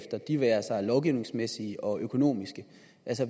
det være sig lovgivningsmæssigt og økonomisk